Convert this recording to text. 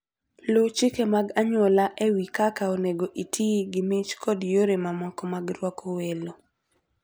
Luw chike mag anyuola e wi kaka onego iti gi mich kod yore mamoko mag rwako welo.